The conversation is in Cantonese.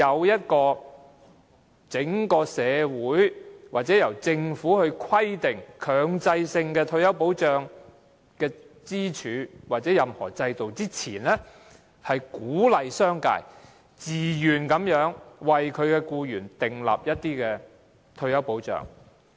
在整體社會還未建立由政府強制規定的退休保障制度前，容許這種對沖安排是為了鼓勵商界自願為僱員提供退休保障。